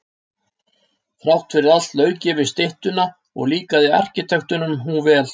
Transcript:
Þrátt fyrir allt lauk ég við styttuna og líkaði arkitektunum hún vel.